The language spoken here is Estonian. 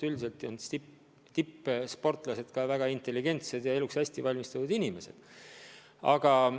Üldiselt on tippsportlased ka väga intelligentsed ja eluks hästi valmistunud inimesed.